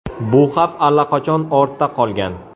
Bu xavf allaqachon ortda qolgan.